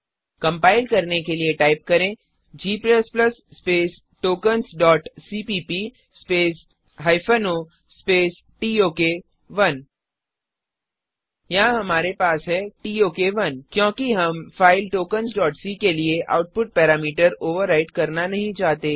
compile करने के लिए टाइप करें g tokensसीपीप o टोक1 यहाँ हमारे पास है टोक1 क्योंकि हम फ़ाइल tokensसी के लिए आउपुट पैरामीटर ओवरराइट करना नहीं चाहते